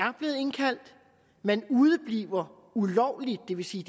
man udebliver ulovligt det vil sige